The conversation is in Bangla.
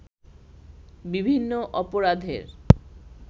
বিভিন্ন অপরাধের